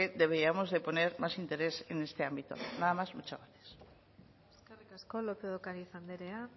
deberíamos de poner más interés en este ámbito nada más muchas gracias eskerrik asko lópez de ocariz andrea